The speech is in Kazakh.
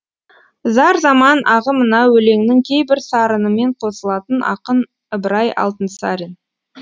зар заман ағымына өлеңнің кейбір сарынымен қосылатын ақын ыбырай алтынсарин